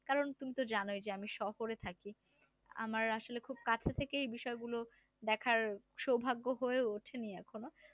কারণ তুমি তো জানোই যে আমি শহরে থাকি আমার আসলে খুব কাছে থেকেই বিষয়গুলো দেখার সৌভাগ্য হয়ে ওঠেনি এখনো